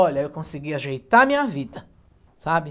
Olha, eu consegui ajeitar a minha vida, sabe?